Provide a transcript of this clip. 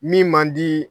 Min man di